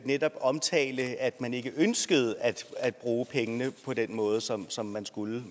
netop omtale at man ikke ønskede at bruge pengene på den måde som som man skulle